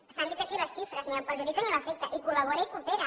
se n’han dit aquí les xifres ni el perjudica ni l’afecta hi col·labora i hi coopera